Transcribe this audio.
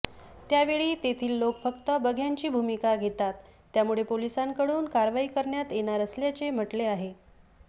त्यावेळी तेथील लोक फक्त बघ्यांची भुमिका घेतात त्यामुळे पोलिसांकडून कारवाई करण्यात येणार असल्याचे म्हटले आहे